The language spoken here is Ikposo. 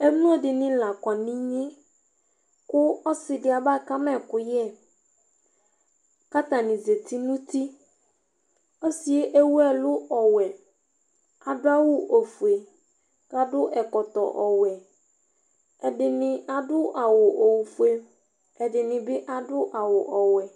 Emlo dinɩ lakɔ niɣne Ku osɩdɩ abkama ɛkʊyɛ karanɩ zati nutɩ Ɔsɩyɛ ewʊɛlʊ ɔwɛ Adʊ awʊ ofye Kuadu ɛkɔtɔ iwɛ Ɛdinɩ adʊ awʊ ifue Ɛdinibɩ adu awʊ ɔwɛ